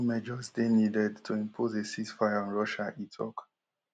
e mai just dey needed to impose a ceasefire on russia e tok